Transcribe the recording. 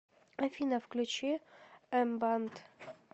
афина включи эмбанд